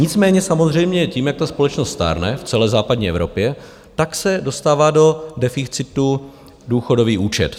Nicméně samozřejmě tím, jak ta společnost stárne v celé západní Evropě, tak se dostává do deficitu důchodový účet.